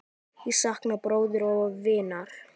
Ég sakna bróður og vinar.